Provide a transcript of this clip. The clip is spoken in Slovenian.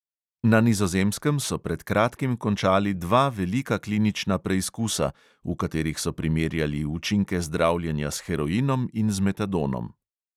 Na nizozemskem so pred kratkim končali dva velika klinična preizkusa, v katerih so primerjali učinke zdravljenja s heroinom in z metadonom.